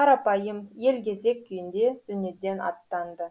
қарапайым елгезек күйінде дүниеден аттанды